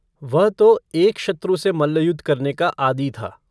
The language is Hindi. वह तो एक शत्रु से मल्लयुद्ध करने का आदी था।